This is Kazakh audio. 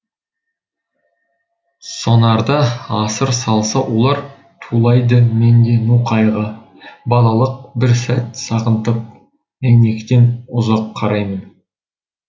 сонарда асыр салса олар тулайды менде ну қайғы балалық бір сәт сағынтып әйнектен ұзақ қараймын